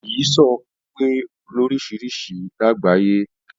Ìyísòó pé lórisirisi làgbáyé